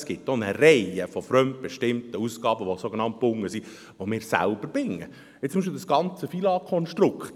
Es gibt aber auch eine Reihe von fremdbestimmten Ausgaben, welche sogenannt gebunden sind, die wir selber binden, so beispielsweise das ganze FILAG-Konstrukt.